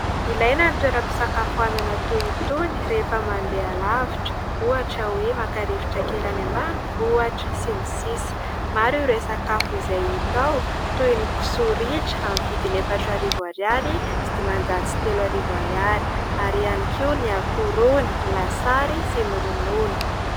Ilaina ny toeram-pisakafoanana toy itony rehefa mandeha halavitra ohatra hoe maka rivotra kely any ambanivohitra sy ny sisa maro ireo sakafo izay hita ao toy ny kisoa ritra amin'ny vidiny efatra arivo ariary sy dimanjato sy telo arivo ariary ary ihany koa ny akoho rony ny lasary sy ny ronono.